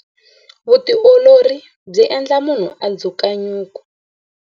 Vutiolori byi endla munhu a dzuka nyuku.